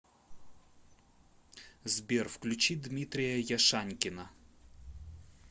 сбер включи дмитрия яшанькина